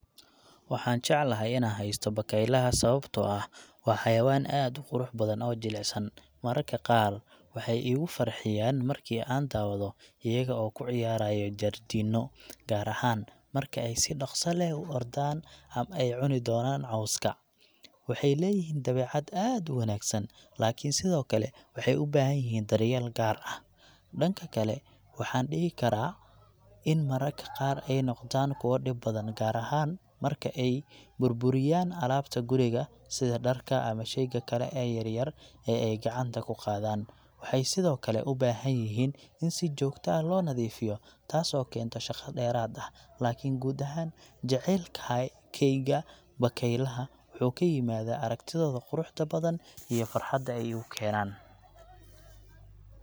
Waxaan jeclahay inaan haysto bakaylayaal sababtoo ah waa xayawaan aad u qurux badan oo jilicsan. Mararka qaar, waxay igu farxiyaan markii aan daawado iyaga oo ku ciyaaraya jardiino, gaar ahaan marka ay si dhakhso leh u ordaan ama ay cuni doonaan cawska. Waxay leeyihiin dabeecad aad u wanaagsan, laakiin sidoo kale waxay u baahan yihiin daryeel gaar ah. Dhanka kale, waxaan dhihi karaa in mararka qaar ay noqdaan kuwo dhib badan, gaar ahaan marka ay burburiyaan alaabta guriga sida dharka ama shayga kale ee yar-yar ee ay gacanta ku qaadaan. Waxay sidoo kale u baahan yihiin in si joogto ah loo nadiifiyo, taasoo keenta shaqo dheeraad ah. Laakiin guud ahaan, jacaylkayga bakaylaha wuxuu ka yimaadaa aragtidooda quruxda badan iyo farxadda ay igu keenaan.